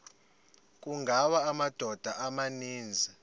kungawa amadoda amaninzi